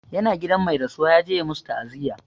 Ya na gidan mai rasuwa, ya je ya masu ta'aziyya.